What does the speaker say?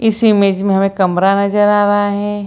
इस इमेज में हमे कमरा नजर आ रहा है।